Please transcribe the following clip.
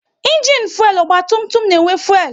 Ịnginu fuelu ọgba tum tum na-enwe fuelu